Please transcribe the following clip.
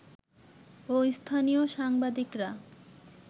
ও স্থানীয় সাংবাদিকরা